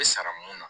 sara mun na